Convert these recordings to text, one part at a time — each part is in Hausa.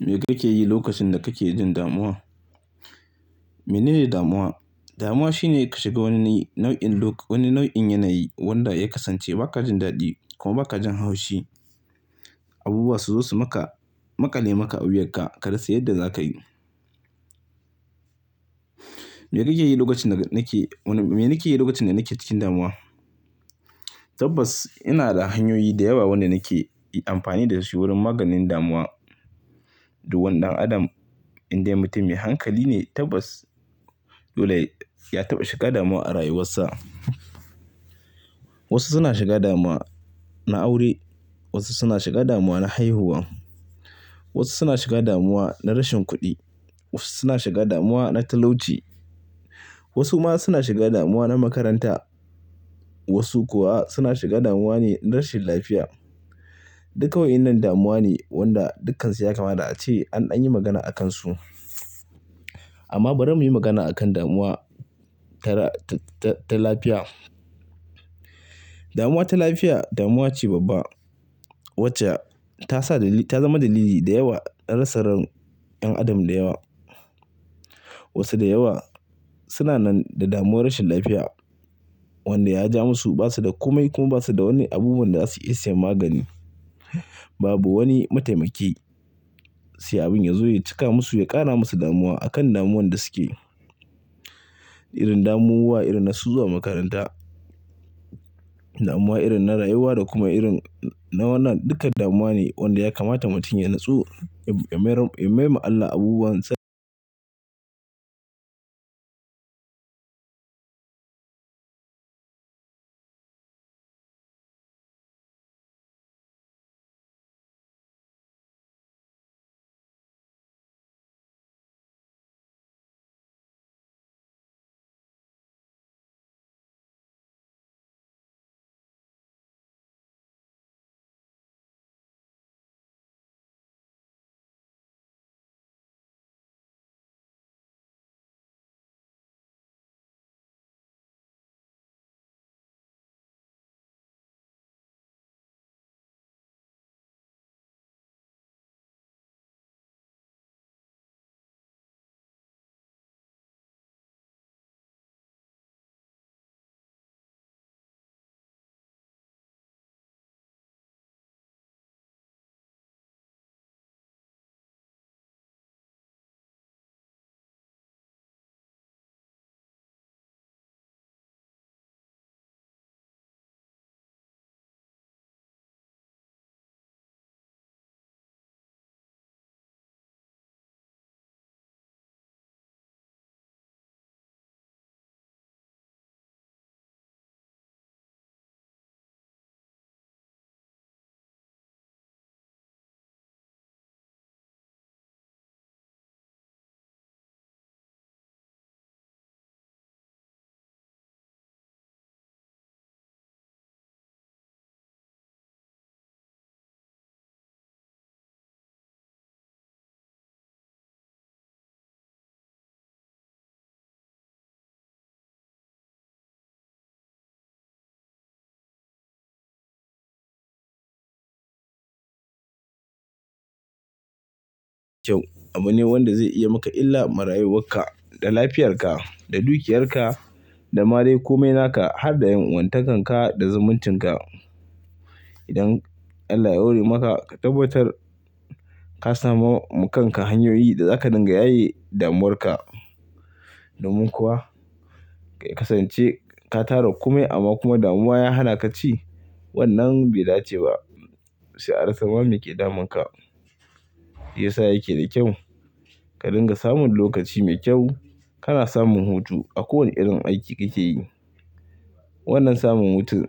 Me kake yi lokacin da kake jin damuwa? Menene damuwa? Damuwa shine ka shiga wani nau'in look, wani nau'in yanayi wanda ya kasance ba ka jin daɗi kuma ba ka jin haushi. Abubuwa su zo su maka, maƙale maka a wuyanka, ka rasa yadda za ka yi. Me kake yi lokacin da nake, me nake yi lokacin da nake cikin damuwa? Tabbas ina da hanyoyi da yawa wanda nake amfani da su wurin maganin damuwa. Duk wani dan adam indai mutum mai hankali ne tabbas, dole ya taɓa shiga damuwa a rayuwarsa. Wasu suna shiga damuwa na aure, wasu suna shiga damuwa na haihuwa, wasu suna shiga damuwa na rashin kuɗi, wasu suna shiga damuwa na talauci, wasu ma suna shiga damuwa na makaranta, wasu kuwa suna shiga damuwa ne na rashin lafiya. Duka wa'inan damuwa ne wanda dukkansu ya kamata ace an dan yi magana a kansu. Amma bari mu yi magana a kan damuwa ta, ta lafiya. Damuwa ta lafiya damuwa ce babba wacce ta sa, ta zama dalili da yawa na rasar yan adam da yawa. Wasu da yawa suna nan da damuwar rashin lafiya wanda ya ja musu, basu da komai kuma ba su da wani abubuwan da za su iya sayen magani. Babu wani mataimaki sai abin ya zo ya cika musu, ya ƙara musu damuwa a kan damuwan da suke. Irin damuwa irin na zuwa makaranta, damuwa irin na rayuwa da kuma irin na wannan dukkan damuwa ne wanda ya kamata mutum ya nutsu, ya mayar ma Allah abubuwansa. Kyau. Abu ne wanda zai iya maka illa mara rayuwarka, da lafiyarka, da dukiyarka, da mare komai naka har da 'yan wantankanka da zumuncinka. Idan Allah ya hore maka ka tabbatar ka sami wa kanka hanyoyi da zaka dinga yaye damuwarka. Domin kuwa ka kasance ka tara komai amma kuma damuwa ya hana ka ci wannan bai dace ba. Sai a rasa mama me ke damun ka, shi ya sa yake da kyau. Ka dinga samun lokaci mai kyau, kana samun hutu a kowane irin aiki kake yi. Wannan samun hutu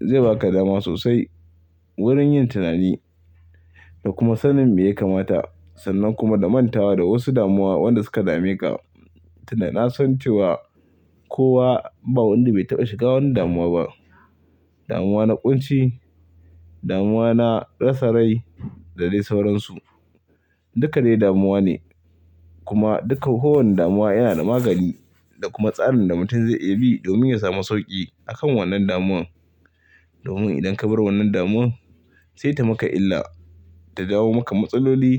zai baka dama sosai wurin yin tunani da kuma sannin me ya kamata. Sannan kuma da mantawa da wasu damuwa wanda suka dame ka. Tounda na san cewa kowa ba wanda bai taɓa shiga wani damuwa ba. Damuwa na ƙunci, damuwa na rasa rai da dai sauransu. Dukkane damuwa ne kuma duka kowane damuwa yana da magani da kuma tsarin da mutum zai iya bi domin ya samu sauƙi a kan wannan damuwan. Domin idan ka bar wannan damuwan sai ta maka illa ta jawo maka matsaloli.